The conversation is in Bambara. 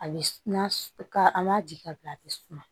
A bɛ n'a ka an b'a di ka bila a bɛ suma